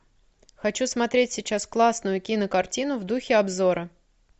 хочу смотреть сейчас классную кинокартину в духе обзора